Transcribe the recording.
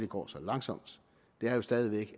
går så langsomt stadig væk